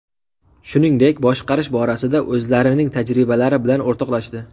Shuningdek, boshqarish borasida o‘zlarining tajribalari bilan o‘rtoqlashdi.